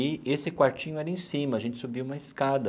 E esse quartinho era em cima, a gente subia uma escada.